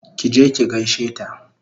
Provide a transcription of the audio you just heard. Ki je ki gaishe ta!